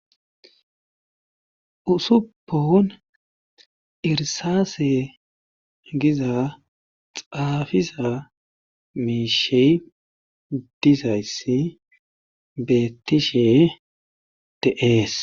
usuppon irsaase giza xaafiza miishe dizayssi beettishe de,es